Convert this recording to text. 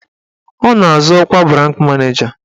Ọ na-azọ ọkwa branch maneja.